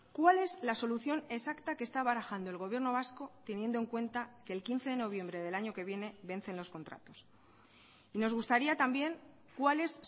cuál es la solución exacta que está barajando el gobierno vasco teniendo en cuenta que el quince de noviembre del año que viene vencen los contratos y nos gustaría también cuáles